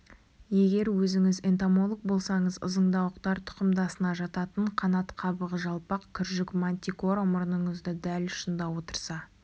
егер өзіңіз энтомолог болсаңыз ызыңдауықтар тұқымдасына жататын қанат қабығы жалпақ күржік мантикора мұрныңыздың дәл ұшында отырса